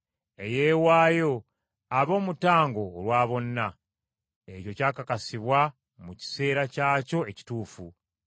eyeewaayo abe omutango olwa bonna. Ekyo kyakakasibwa mu kiseera kyakyo ekituufu.